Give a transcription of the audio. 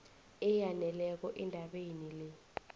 eyaneleko endabeni le